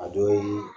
A dɔ ye